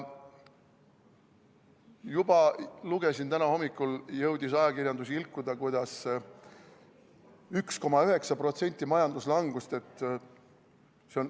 Juba lugesin, täna hommikul jõudis ajakirjandus ilkuda, kuidas majanduslangus on 1,9%.